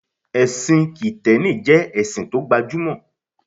Ẹ̀sìn kìtẹ́nì jẹ́ ẹ̀sìn tó gba jú mọ̀